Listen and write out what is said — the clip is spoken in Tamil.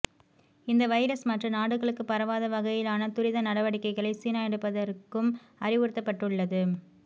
இந்த வைரஸ் மற்ற நாடுகளுக்கு பரவாத வகையிலான துரித நடவடிக்கைகளை சீனா எடுப்பதற்கும் அறிவுறுத்தப்பட்டுள்ளது